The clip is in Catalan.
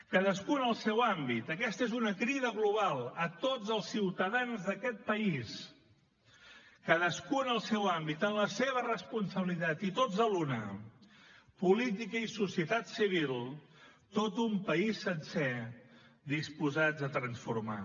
cadascú en el seu àmbit aquesta és una crida global a tots els ciutadans d’aquest país cadascú en el seu àmbit en la seva responsabilitat i tots a l’una política i societat civil tot un país sencer disposats a transformar